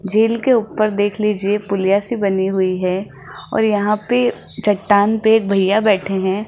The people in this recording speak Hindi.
झील के ऊपर देख लीजिए पुलिया से बनी हुई है और यहां पे चट्टान पे एक भईया बैठे हैं।